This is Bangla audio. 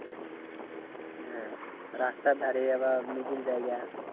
হ্যাঁ রাস্তার ধারে আবার middle জায়গা।